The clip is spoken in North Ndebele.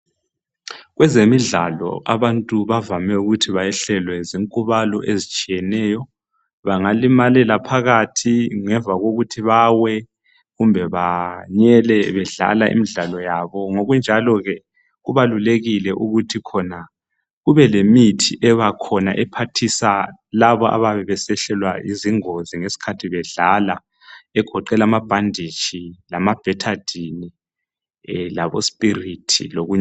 Kwezemidlalo abantu bavame ukuthi behlelwe zinkubalo ezitshiyeneyo. Bangalimalela phakathi ngemva kokuthi bawe, kumbe banyele bedlala imdlalo yabo. Ngokunjalo ke kubalulekile ukuthi khona kube limithi ebakhona ephathisa laba abayabe besehlelwa zingozi ngesikhathi bedlala egoqeda amabhanditshi, amabhethadini labosipirithi lokunye.